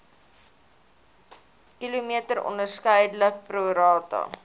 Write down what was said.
km onderskeidelik prorata